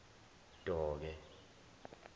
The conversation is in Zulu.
doke